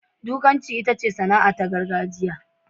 Dukanci itace sana'ata ta gargajiya.